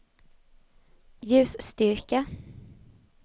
ljusstyrka